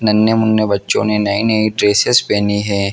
नने मुने बच्चों ने नए नए ड्रेसेस पेहने हैं।